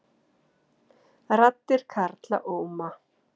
Raddir karla óma